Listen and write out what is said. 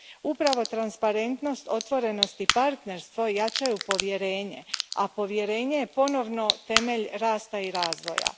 Upravo transparentnost, otvorenost i partnerstvo jačaju povjerenje, a povjerenje je ponovno temelj rasta i razvoja.